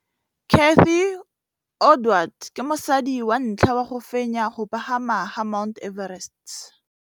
Cathy Odowd ke mosadi wa ntlha wa go fenya go pagama ga Mt Everest.